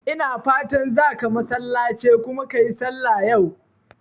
Ina fatan zaka masallace kuma ka yi sallah yau?